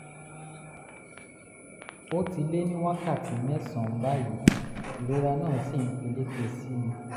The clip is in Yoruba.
ó ti lé ní wákàtí mẹ́sàn-án báyìí ìrora náà sì ń peléke sí i